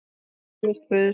Tilvist Guðs